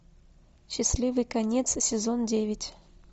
счастливый конец сезон девять